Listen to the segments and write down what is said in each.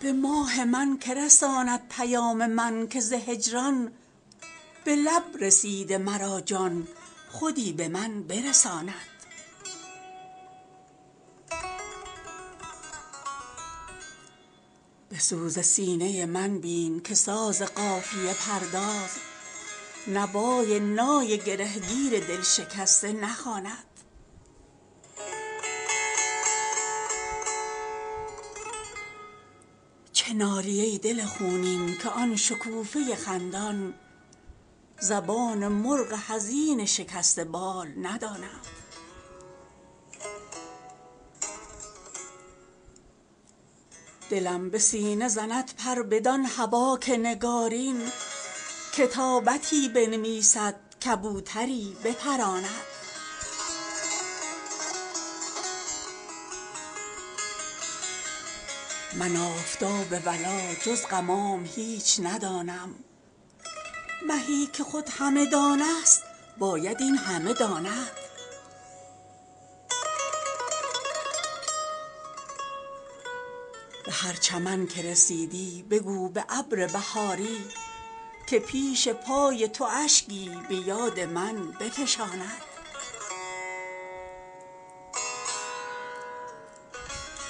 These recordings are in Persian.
جدا شد از من و دیدم ولی ز هول غریبی در ازدحام و هیاهو به طفل گمشده ماند به ماه من که رساند پیام من که ز هجران به لب رسیده مرا جان خودی به من برساند به سوز سینه من بین که ساز قافیه پرداز نوای نای گره گیر دل شکسته نخواند چه نالی ای دل خونین که آن شکوفه خندان زبان مرغ حزین شکسته بال نداند دلم به سینه زند پر بدان هوا که نگارین کتابتی بنوسید کبوتری بپراند من آفتاب ولا جز غمام هیچ ندانم مهی که خود همه دان است باید این همه داند به هر چمن که رسیدی بگو به ابر بهاری که پیش پای تو اشکی به یاد من بفشاند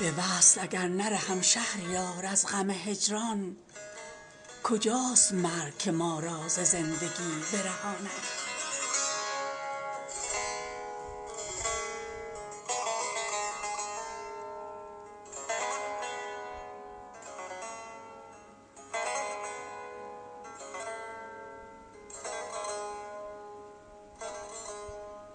قرار وصل چو طی شد امیدوار چنانم که بی قراری ما نیز برقرار نماند به وصل اگر نرهم شهریار از غم هجران کجاست مرگ که ما را ز زندگی برهاند